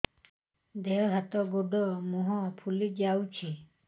ଦେହ ହାତ ଗୋଡୋ ମୁହଁ ଫୁଲି ଯାଉଛି